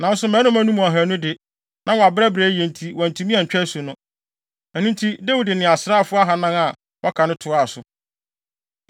Nanso mmarima no mu ahannu de, na wɔabrɛbrɛ yiye nti wɔantumi antwa asu no. Ɛno nti, Dawid de asraafo ahannan a wɔaka no toaa so.